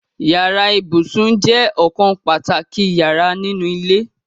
Yàrá ibùsùn je okan pàtàkì yara ninu ile